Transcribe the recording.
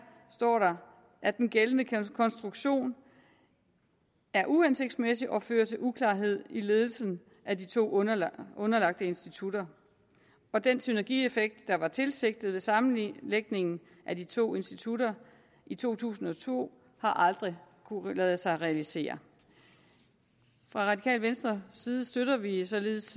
står der at den gældende konstruktion er uhensigtsmæssig og fører til uklarhed i ledelsen af de to underlagte underlagte institutter og den synergieffekt der var tilsigtet ved sammenlægningen af de to institutter i to tusind og to har aldrig kunnet lade sig realisere fra radikale venstres side støtter vi vi således